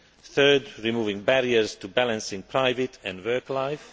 third, removing barriers to balancing private and work life